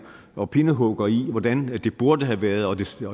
og pindehugger i hvordan det burde have været og det skulle